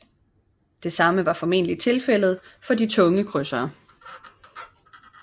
Det samme var formentlig tilfældet for de tunge krydsere